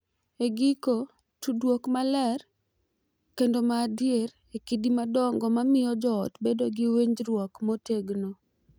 E giko, tudruok maler kendo ma adier e kidi madongo ma miyo joot bedo gi winjruok motegno.